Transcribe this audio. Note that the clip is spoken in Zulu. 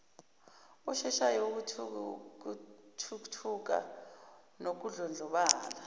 osheshayo wokuthuthuka nokudlondlobala